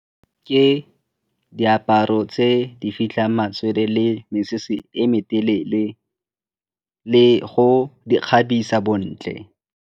Ke diaparo tse di fitlhang matswele le mesese e me telele le go di kgabisa bontle.